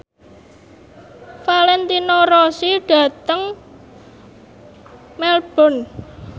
Valentino Rossi lunga dhateng Melbourne